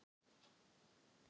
Hún dró það á hendi sér.